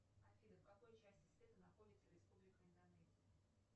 афина в какой части света находится республика индонезия